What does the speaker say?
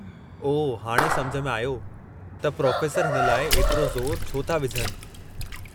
ओह, हाणे सम्झ में आयो त प्रोफ़ेसर हिन लाइ एतिरो ज़ोरु छो था विझनि।